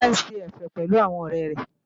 Kíkẹ́ ń ṣe ẹ̀fẹ̀ pẹ̀lú àwọn ọ̀rẹ́ rẹ̀